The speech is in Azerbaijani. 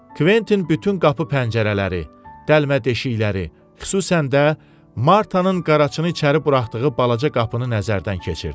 Kventin bütün qapı pəncərələri, dəlmədəşikləri, xüsusən də Martanın qaraçını içəri buraxdığı balaca qapını nəzərdən keçirdi.